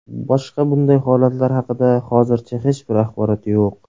Boshqa bunday holatlar haqida hozircha hech bir axborot yo‘q.